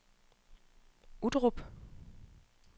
Uttrup